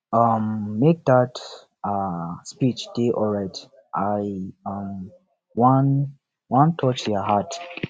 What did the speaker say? um make dat um speech dey alright i um wan wan touch their heart